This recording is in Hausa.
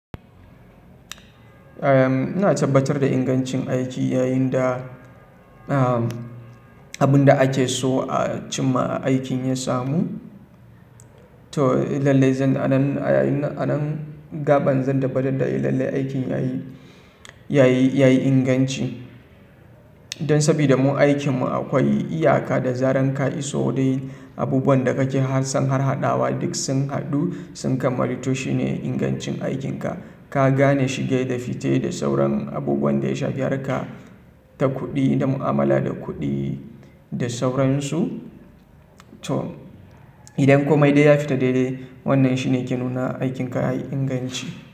Eh, ina tabbatar da ingancin aiki yayin da, abun da ake so a cimma aikin ya samu. To, lalle zanga nan, a nan gaba zan tabbatar da lalle aikin yayi, yayi, yayi inganci. Don sabida mu aikinmu akwai iyaka da zarar ka iso dai abubuwan da kake son har haɗawa duk sun haɗu sun kammalu to shine ingancin aikinka. Ka gane shige da fice da sauran abubuwan da ya shafi harka ta kuɗi, da mu'amala da kuɗi da sauransu. To, idan komai dai ya fita daidai wannan shine ke nuna aikin ka yayi inganci.